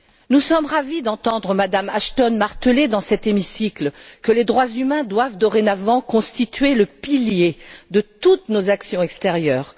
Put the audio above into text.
Nous sommes ravis d'entendre Mme Ashton marteler, dans cet hémicycle, que les droits humains doivent dorénavant constituer le pilier de toutes nos actions extérieures.